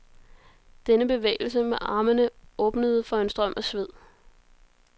Denne bevægelse med armene åbnede for en strøm af sved.